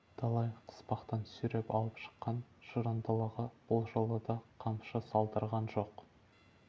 талай қыспақтан сүйреп алып шыққан жырындылығы бұл жолы да қамшы салдырған жоқ